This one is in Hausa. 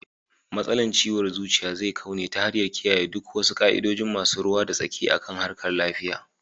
. Matsalar ciwon zuciya zai kau ne ta hanyar kiyayen duk wasu ka'idojin masu ruwa da tsaki akan harkar .lafiya